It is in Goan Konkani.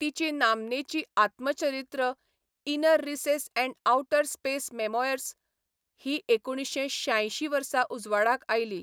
तिची नामनेची आत्मचरित्र 'inner recess and outer space memoirs' ही एकुणशे शांयशीं वर्सा उजवाडाक आयली.